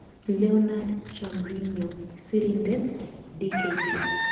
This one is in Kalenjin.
Leornard Chamriho. Sirindet-Dkt